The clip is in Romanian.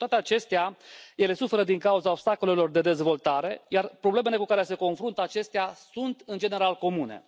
Cu toate acestea, ele suferă din cauza obstacolelor de dezvoltare, iar problemele cu care se confruntă acestea sunt, în general, comune.